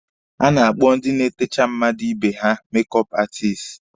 A na-akpọ ndị na-etecha mmadụ ibe ha 'mek ọọp aatisti.